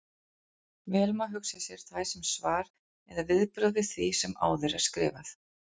Vel má hugsa sér þær sem svar eða viðbrögð við því sem áður er skrifað.